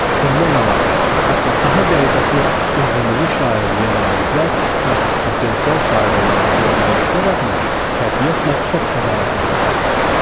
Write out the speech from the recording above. Bundan əlavə, hətta daha qəribəsi, özümüzü şairliyə namizəd, yaxud potensial şair olaraq görməyimizə rəğmən, təbiətlə çox da maraqlanmazdıq.